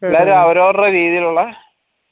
എല്ലാരും അവരോരെ രീതിയിലുള്ള